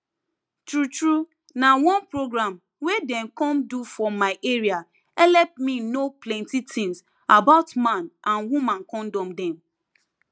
true true na one program wey dem come do for my area helep me know plenty things about man with woman kondom dem